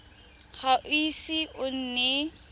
ga o ise o nne